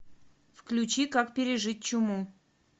включи как пережить чуму